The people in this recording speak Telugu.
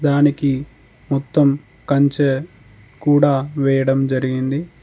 దానికి మొత్తం కంచె కూడా వేయడం జరిగింది.